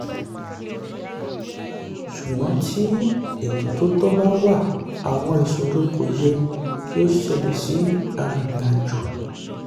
ṣùgbọ́n tí ètò tó tọ́ bá wà àwọn ìṣòro kò yẹ kí ó ṣẹlẹ̀ sí arìnrìn-àjò.